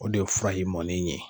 O de ye fura in mɔnen ye.